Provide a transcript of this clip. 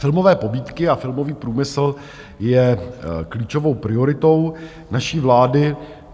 Filmové pobídky a filmový průmysl je klíčovou prioritou naší vlády.